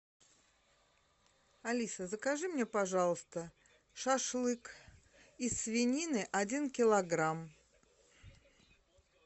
алиса закажи мне пожалуйста шашлык из свинины один килограмм